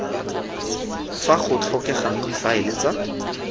fa go tlhokegang difaele tsa